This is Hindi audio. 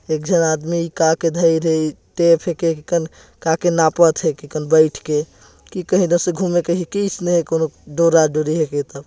एक झन आदमी का करि का के नापत हे बैठ के की कहि द का घूमे का